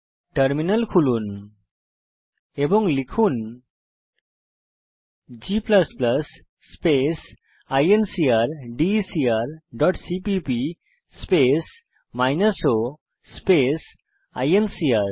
terminal খুলুন এবং লিখুন g space incrdecr dot CPP space minus o space INCR